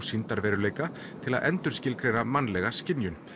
sýndarveruleika til að endurskilgreina mannlega skynjun